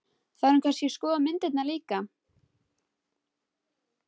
Þarf hún kannski að skoða myndirnar líka?